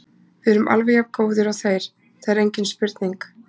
Við erum alveg jafn góðir og þeir, það er engin spurning.